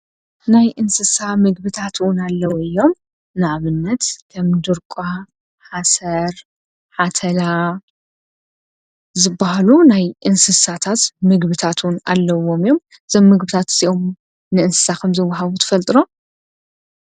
ናይ እንስሳ ምግብታት እዉን ኣለዉ እዮም። ንኣብነት ከም ድርቋ ፣ሓሰር ፣ሓተላ ዝበሃሉ ናይ እንስሳታት ምግብታት እውን ኣለዉዎም እዮም። እዞም ምግብታት እዚኦም ንእንስሳ ከምዝወሃቡ ትፈልጡ ዶ?